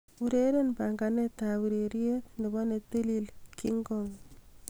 ureren panganet ab ureryet nebo netilil kingkong